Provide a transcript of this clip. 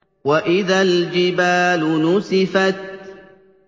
وَإِذَا الْجِبَالُ نُسِفَتْ